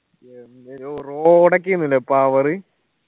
എന്ത് ല്ലേ road ഒക്കേന്ന് ല്ലേ power